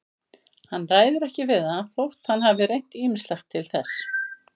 Hann ræður ekki við það þótt hann hafi reynt ýmislegt til þess.